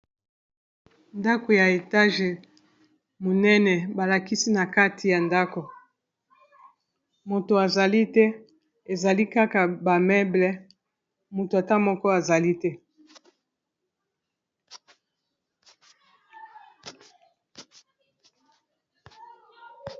ndako ya etage monene balakisi na kati ya ndako moto azali te ezali kaka bameble moto ata moko azali te